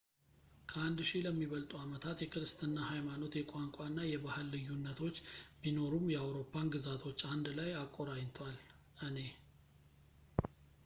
ከአንድ ሺህ ለሚበልጡ ዓመታት የክርስትና ሃይማኖት የቋንቋና የባህል ልዩነቶች ቢኖሩም የአውሮፓን ግዛቶች አንድ ላይ አቆራኝቷል እኔ